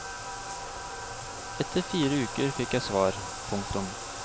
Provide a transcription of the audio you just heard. Etter fire uker fikk jeg svar. punktum